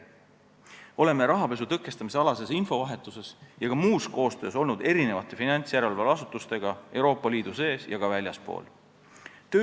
Oleme vahetanud rahapesu tõkestamise kohta infot ja teinud ka muud koostööd finantsjärelevalveasutustega Euroopa Liidu sees ja ka väljaspool seda.